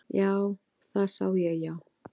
Já, það sá ég já.